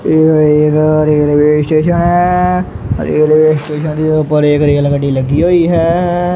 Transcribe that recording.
Railway station ਦੇ ਉੱਪਰ ਇੱਕ ਰੇਲ ਗੱਡੀ ਲੱਗੀ ਹੋਈ ਹੈ।